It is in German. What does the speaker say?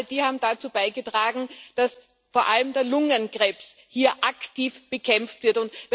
Denn all dies hat dazu beigetragen, dass vor allem der Lungenkrebs hier aktiv bekämpft wird.